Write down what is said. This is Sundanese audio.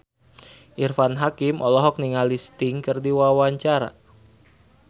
Irfan Hakim olohok ningali Sting keur diwawancara